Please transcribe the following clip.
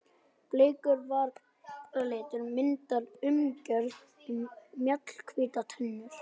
Bleikur varalitur myndar umgjörð um mjallhvítar tennur.